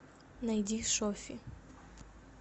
найди шоффи